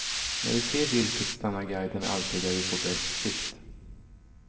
När vi ser viltet stannar guiden alltid där vi får bäst sikt.